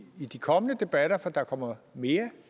de kommende debatter for der kommer jo mere